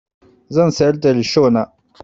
Zan sayar da rishona.